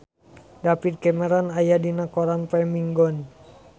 David Cameron aya dina koran poe Minggon